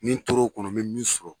Ni n tor'o kɔnɔ n bɛ min sɔrɔ